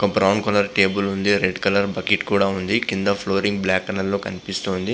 వక brown colour table ఉంది. A red colour bucket కూడా ఉంది. కింద ఫ్లోరింగ్ బ్లాక్ కలర్ లో కనిపిస్తూ ఉంది.